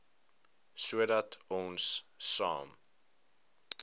sodat ons saam